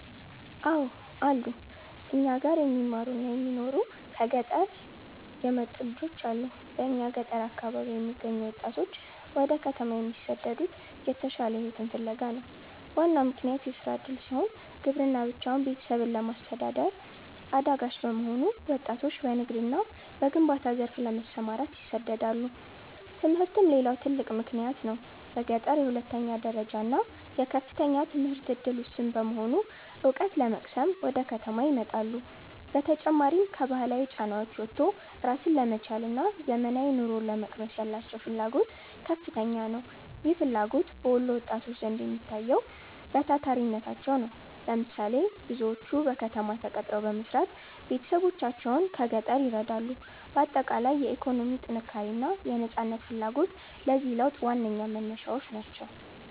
አው አሉ, እኛ ጋር የሚማሩና የሚኖሩ ከሆነ ገጠር የመጡ ልጆች አሉ በእኛ ገጠር አካባቢ የሚገኙ ወጣቶች ወደ ከተማ የሚሰደዱት የተሻለ ሕይወትን ፍለጋ ነው። ዋናው ምክንያት የሥራ ዕድል ሲሆን፣ ግብርና ብቻውን ቤተሰብን ለማስተዳደር አዳጋች በመሆኑ ወጣቶች በንግድና በግንባታ ዘርፍ ለመሰማራት ይሰደዳሉ። ትምህርትም ሌላው ትልቅ ምክንያት ነው። በገጠር የሁለተኛ ደረጃና የከፍተኛ ትምህርት ዕድል ውስን በመሆኑ፣ ዕውቀት ለመቅሰም ወደ ከተማ ይመጣሉ። በተጨማሪም፣ ከባህላዊ ጫናዎች ወጥቶ ራስን ለመቻልና ዘመናዊ ኑሮን ለመቅመስ ያላቸው ፍላጎት ከፍተኛ ነው። ይህ ፍላጎት በወሎ ወጣቶች ዘንድ የሚታየው በታታሪነታቸው ነው። ለምሳሌ፦ ብዙዎቹ በከተማ ተቀጥረው በመስራት ቤተሰቦቻቸውን ከገጠር ይረዳሉ። ባጠቃላይ፣ የኢኮኖሚ ጥንካሬና የነፃነት ፍላጎት ለዚህ ለውጥ ዋነኛ መነሻዎች ናቸው።